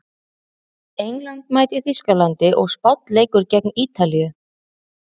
England mætir Þýskalandi og Spánn leikur gegn Ítalíu.